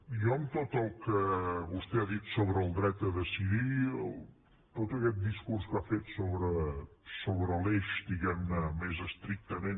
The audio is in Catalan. jo en tot el que vostè ha dit sobre el dret a decidir tot aquest discurs que ha fet sobre l’eix diguem ne més estrictament